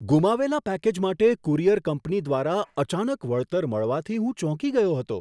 ગુમાવેલા package માટે courier company દ્વારા અચાનક વળતર મળવાથી હું ચોંકી ગયો હતો.